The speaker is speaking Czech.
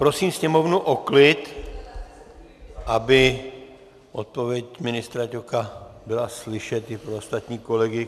Prosím sněmovnu o klid, aby odpověď ministra Ťoka byla slyšet i pro ostatní kolegy.